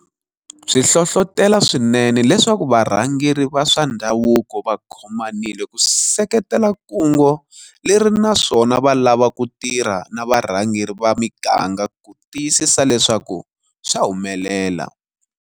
Swi hlohlotela swinene leswaku varhangeri va swa ndhavuko va khomanile ku seketela kungu leri naswona va lava ku tirha na varhangeri va miganga ku tiyisisa leswaku swa humelela.